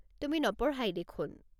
তুমি নপঢ়াই দেখোন।